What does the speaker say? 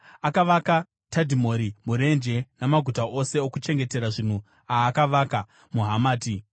Akavaka Tadhimori murenje namaguta ose okuchengetera zvinhu aakavaka muHamati.